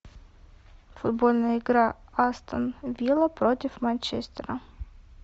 футбольная игра астон вилла против манчестера